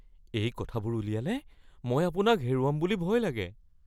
এই কথাবোৰ উলিয়ালে মই আপোনাক হেৰুৱাম বুলি ভয় লাগে।